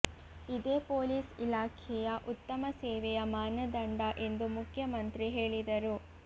ಇದೇ ಪೊಲೀಸ್ ಇಲಾಖೆಯ ಉತ್ತಮ ಸೇವೆಯ ಮಾನದಂಡ ಎಂದು ಮುಖ್ಯಮಂತ್ರಿ ಹೇಳಿದರು